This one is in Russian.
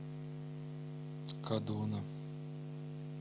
кадуна